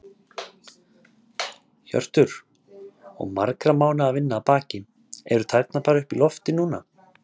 Hjörtur: Og margra mánaða vinna að baki, eru tærnar bara upp í loft núna?